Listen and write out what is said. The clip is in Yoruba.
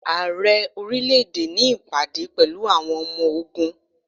Ààrẹ orílẹ̀ èdè ní ìpàdé pẹ̀lú àwọn ọmọ ogún.